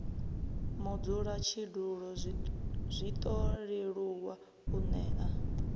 mudzulatshidulo zwiṱo leluwa u nea